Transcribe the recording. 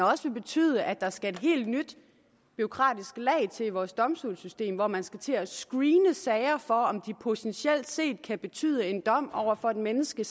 også vil betyde at der skal et helt nyt bureaukratisk lag til i vores domstolssystem hvor man skal til at screene sager for om de potentielt set kan betyde en dom over for et menneske